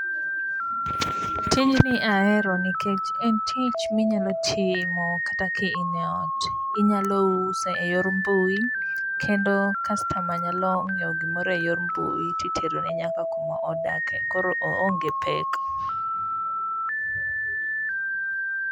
tijni ahero nikech en tich minyalo timo kata ka in e ot ,inyalo uso e yor mbui kendo customer nyalo nyiewo gimoro e yor mbui ti tero ne nyaka kumo dake koro oonge pek